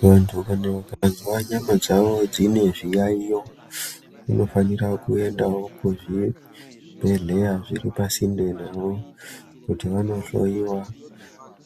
Muntu ukazwa nyama dzawo dzine zviyaiyo unofanira kuendawo kuzvibhedhleya zviri pasinde navo, kuti vanohloyiwa